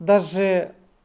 даже